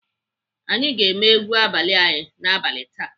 Anyị ga-eme egwu abalị anyị n'abalị taa.